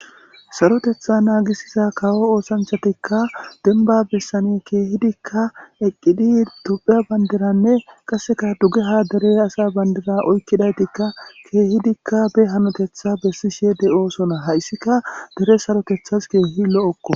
sarotetha naagisiza kawo oosanchatikka denba bessane keehidikka eqqidi tophiya bandiranne qasseka duggeha dere asa bandira oykkidaytikka keehidikka be hanotetha bessishe de7osona hayssika dere sarotethas keehi lo7okko